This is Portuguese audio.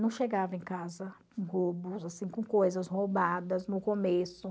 Não chegava em casa com coisas roubadas no começo.